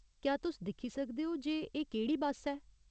क्या तुस दिक्खी सकदे ओ जे एह् केह्ड़ी बस्स ऐ ?